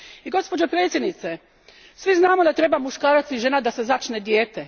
Gospođo predsjednice, svi znamo da su potrebni muškarac i žena da se začne dijete.